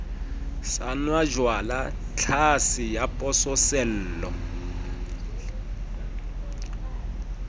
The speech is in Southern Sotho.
sa nwajwala tlhase ya pososelo